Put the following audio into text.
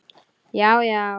Já já.